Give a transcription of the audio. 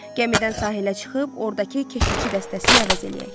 Gəmidən sahilə çıxıb, ordakı keşişçi dəstəsini əvəz eləyək.